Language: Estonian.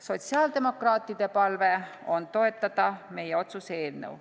Sotsiaaldemokraatide palve on toetada meie otsuse eelnõu.